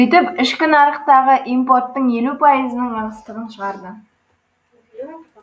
сөйтіп ішкі нарықтағы импорттың елу пайызын ығыстырып шығарды